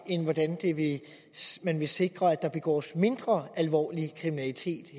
end hvordan man vil sikre at der begås mindre alvorlig kriminalitet